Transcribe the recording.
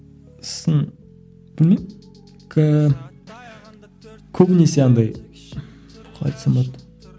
сосын білмеймін ііі көбінесі андай қалай айтсам болады